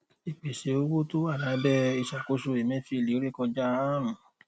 ìpèsè owó tó wà lábẹ ìsàkóso emefiele rékọjá àárún